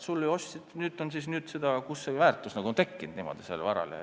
Alles sa ju ostsid, kust see suurem väärtus nagu on tekkinud?